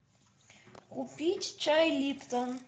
купить чай липтон